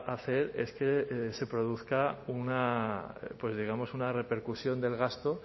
a hacer es que se produzca una digamos una repercusión del gasto